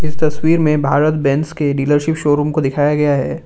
तस्वीर में भारत बेंज के डीलरशिप शोरूम को दिखाया गया है।